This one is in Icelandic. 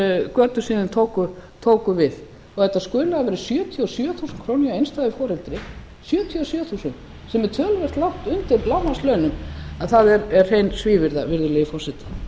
götur síðan þeir tóku við að þetta skuli hafa verið sjötíu og sjö þúsund krónur hjá einstæðu foreldri sjötíu og sjö þúsund sem er töluvert langt undir lágmarkslaunum það er hrein svívirða virðulegi forseti